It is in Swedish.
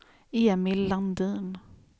Emil Landin